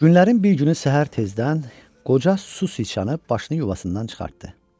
Günlərin bir günü səhər tezdən qoca su siçanı başını yuvasından çıxartdı.